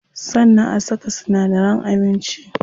Sannan a saka sinadaran abinci.